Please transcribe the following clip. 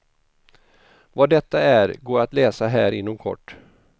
Vad detta är går att läsa här inom kort.